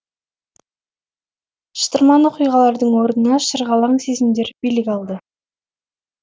шытырман оқиғалардың орнына шырғалаң сезімдер билік алды